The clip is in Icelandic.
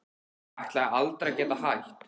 Ég ætlaði aldrei að geta hætt.